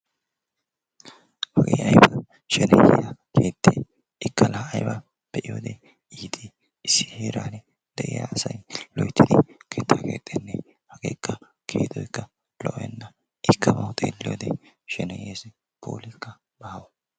Hagee aybea shenehiyaa keette! ikka la aybba be'iyoode iitt! issi heeran de'iyaa asay loyttidi keettaa keexxenne! hagekka keexxoykka lo''ena. ikka bawu xeelliyoode sheneyees puulikka baawa.